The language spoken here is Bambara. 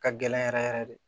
Ka gɛlɛn yɛrɛ yɛrɛ de